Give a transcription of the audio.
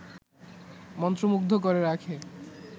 মন্ত্রমুগ্ধ করে রাখে